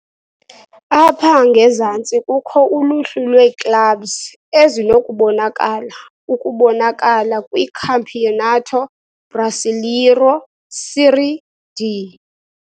Apha ngezantsi kukho uluhlu lwee-clubs ezinokubonakala ukubonakala kwiCampeonato Brasileiro Série D.